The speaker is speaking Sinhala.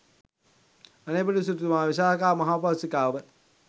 අනේපිඬු සිටුතුමා, විශාකා මහෝපාසිකාව,